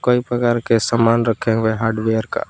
कई प्रकार के सामान रखे हुए हार्डवेयर का।